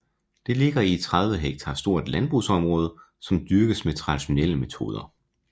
Det ligger i et 30 hektar stort landbrugsområde som dyrkes med traditionelle metoder